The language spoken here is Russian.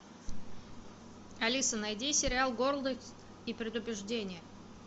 алиса найди сериал гордость и предубеждение